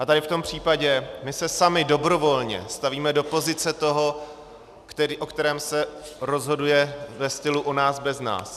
A tady v tom případě se my sami dobrovolně stavíme do pozice toho, o kterém se rozhoduje ve stylu o nás bez nás.